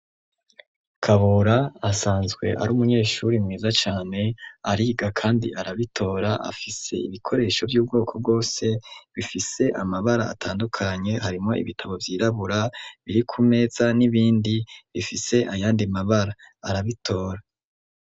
Kabura asanzwe ari umunyeshuri mwiza cane ariga kandi arabitora afise ibikoresho vy'ubwoko bwose bifise amabara atandukanye harimwo ibitabo vyirabura biri ku meza n'ibindi bifise ayandi mabara, arabitora.